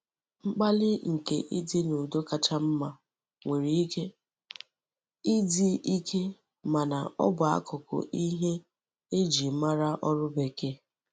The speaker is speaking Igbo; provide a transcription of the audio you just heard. Mkpali nke idi n'udo kacha mma nwere Ike idi Ike mana o bu akuku ihe e ji mara órú bekee.